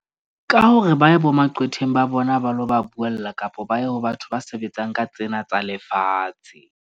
Ka hore ba ye bo maqwetheng, ba bona ba lo ba buella, kapa ba ye ho batho ba sebetsang ka tsena tsa lefatshe.